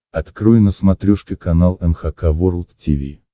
открой на смотрешке канал эн эйч кей волд ти ви